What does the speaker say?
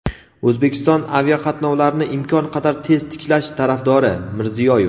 O‘zbekiston aviaqatnovlarni imkon qadar tez tiklash tarafdori – Mirziyoyev.